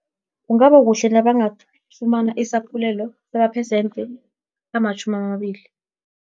Kungaba kuhle nabangafumana isaphulelo, samaphesente amatjhumamabili.